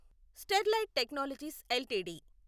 Sterlite Technologies LTD